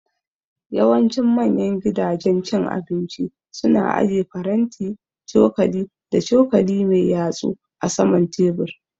Yawancin manya gidajen cin abinci su na aje faranti, cokali da cokali mai yatsu a saman tebur